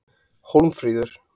Hólmfríður